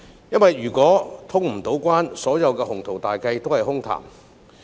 如果無法通關，所有的鴻圖大計都是空談。